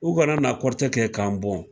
U ka na na kɔrɔtɛ kɛ k'an bɔn.